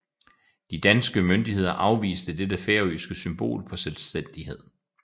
De danske myndigheder afviste dette færøske symbol på selvstændighed